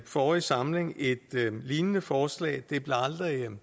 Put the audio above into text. forrige samling et lignende forslag det blev aldrig